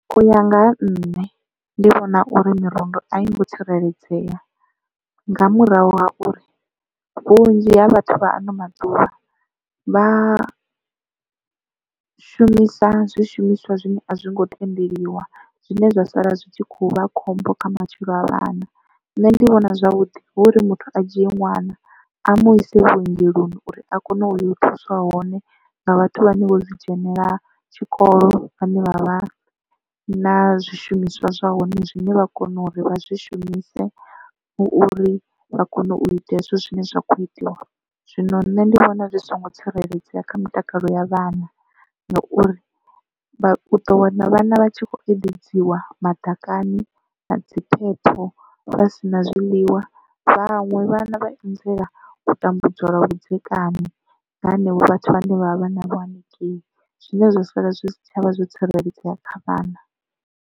U ya nga ha nṋe ndi vhona uri mirundu a yi ngo tsireledzea nga murahu ha uri vhunzhi ha vhathu vha ano maḓuvha vha shumisa zwishumiswa zwine a zwi ngo tendeliwa zwine zwa sala zwi tshi khou vha khombo kha matshilo a vhana. Nṋe ndi vhona zwavhuḓi hu uri muthu a dzhie ṅwana a mu ise vhuongeloni uri a kone u ya u thuswa hone nga vhathu vha ne vho zwi dzhenela tshikolo vhane vha vha na zwishumiswa zwa hone zwine vha kone uri vha zwi shumise hu uri vha kone u ita hezwo zwine zwa kho itiwa. Zwino nṋe ndi vhona zwi songo tsireledzea kha mutakalo ya vhana ngauri vha ḓo wana vhana vha tshi kho eḓedziwa madakani na dzi phepho vha si na zwiḽiwa vhaṅwe vhana vha anzela u tambudzwa lwa vhudzekani nga henevho vhathu vhane vha vha vha na vho hanengei zwine zwa sala zwi si tshavha zwo tsireledzea kha vhana.